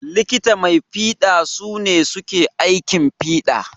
Likita mai fiɗa su ne suke aikin fiɗa.